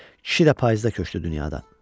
Kişi də payızda köçdü dünyadan.